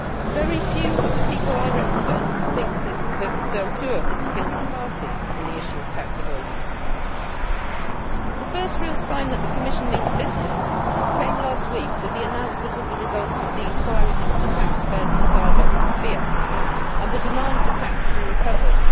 Very few of the people I represent think that Deltour is the guilty party on the issue of tax avoidance. The first real sign that the Commission means business came last week with the announcement of the results of the inquiries into the tax affairs of Starbucks and Fiat and the demand for tax to be recovered.